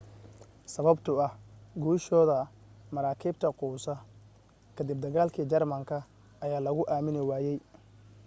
sababtoo ah guushooda maraakiibta quusa ka dib dagaalka germanka ayaa luugu aamini waayay